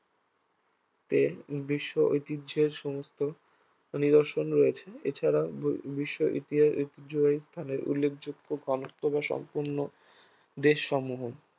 তে বিশ্ব ঐতিহ্যের সমস্ত নিদর্শন রয়েছে এছাড়া বি~ বিশ্ব ইতিহাস ঐতিহ্যবাহী স্থানের উল্লেখযোগ্য ঘনত্ব বা সম্পন্ন দেশসমূহ